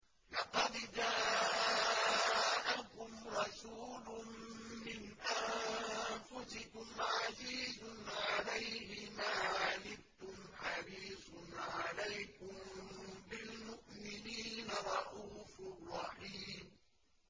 لَقَدْ جَاءَكُمْ رَسُولٌ مِّنْ أَنفُسِكُمْ عَزِيزٌ عَلَيْهِ مَا عَنِتُّمْ حَرِيصٌ عَلَيْكُم بِالْمُؤْمِنِينَ رَءُوفٌ رَّحِيمٌ